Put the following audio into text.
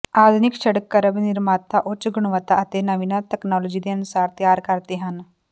ਆਧੁਨਿਕ ਸੜਕ ਕਰਬ ਨਿਰਮਾਤਾ ਉੱਚ ਗੁਣਵੱਤਾ ਅਤੇ ਨਵੀਨਤਮ ਤਕਨਾਲੋਜੀ ਦੇ ਅਨੁਸਾਰ ਤਿਆਰ ਕਰਦੇ ਹਨ